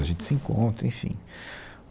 A gente se encontra, enfim.